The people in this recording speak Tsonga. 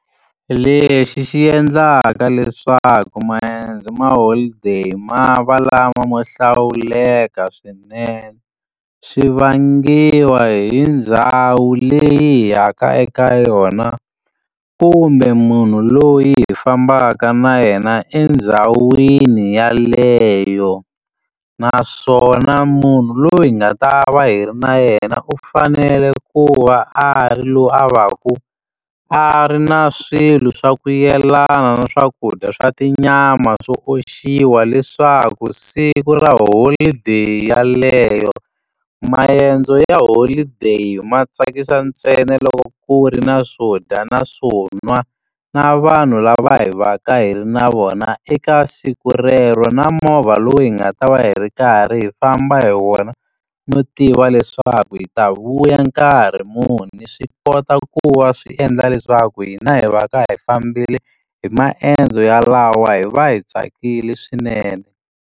Lexi xi endlaka leswaku maendzo ma holiday ma va lama mo hlawuleka swinene swi vangiwa hi ndhawu leyi hi yaka eka yona kumbe munhu loyi hi fambaka na yena endzhawini yeleyo naswona munhu loyi hi nga ta va hi ri na yena u fanele ku va a ri loyi a va ku a ri na swilo swa ku yelana na swakudya swa tinyama swo oxiwa leswaku siku ra holideyi yeleyo maendzo ya holideyi ma tsakisa ntsena loko ku ri na swo dya na swo nwa na vanhu lava hi va ka hi ri na vona eka siku rero na movha lowu hi nga ta va hi ri karhi hi famba hi wona no tiva leswaku hi ta vuya nkarhi muni swi kota ku va swi endla leswaku hina hi va ka hi fambile hi maendzo yalawa hi va hi tsakile swinene.